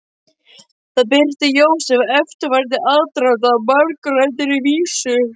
Þar birtir Jósef eftirfarandi aðdraganda að margumræddri vísu.